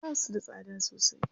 Basu da tsada sosai.